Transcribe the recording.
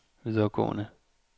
videregående